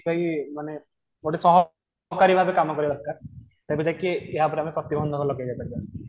ଇୟେ ମାନେ ଗୋଟେ କାମ କରିବା ଦରକାର ତେବେ ଯାଇଁକି ୟା ଉପରେ ଆମେ ପ୍ରତିବନ୍ଧକ ଲଗେଇପାରିବା